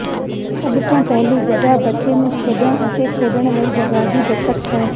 ਸਭ ਤੋਂ ਪਹਿਲੀ ਜਗ੍ਹਾ ਬੱਚੇ ਨੂੰ ਖੇਡਣ ਅਤੇ ਖੇਡਣ ਲਈ ਜਗ੍ਹਾ ਦੀ ਬੱਚਤ ਹੈ